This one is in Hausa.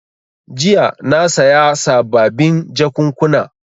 Jiya na saya sababin jakunkuna.